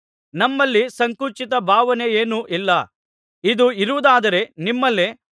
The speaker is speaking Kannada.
ನಮ್ಮಲ್ಲಿ ಸಂಕುಚಿತ ಭಾವನೆಯೇನೂ ಇಲ್ಲ ಇದು ಇರುವುದಾದರೆ ನಿಮ್ಮಲ್ಲೇ